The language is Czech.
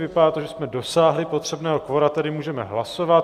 Vypadá to, že jsme dosáhli potřebného kvora, tedy můžeme hlasovat.